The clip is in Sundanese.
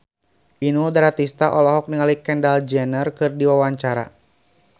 Inul Daratista olohok ningali Kendall Jenner keur diwawancara